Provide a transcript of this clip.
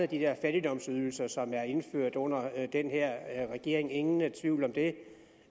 de der fattigdomsydelser som er indført under den her regering ingen tvivl om det